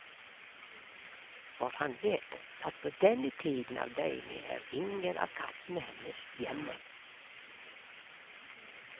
For han vet at på denne tiden av døgnet er ingen av kattene hennes hjemme.